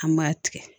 An b'a tigɛ